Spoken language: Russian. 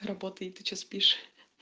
работает ты что спишь